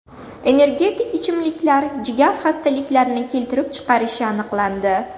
Energetik ichimliklar jigar xastaliklarini keltirib chiqarishi aniqlandi.